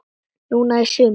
Núna í sumar?